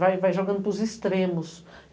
Vai jogando para os extremos.